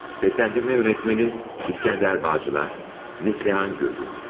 Səsləndirmə rejissoru: İsgəndər Bağçılar, Neslihan Gürgün.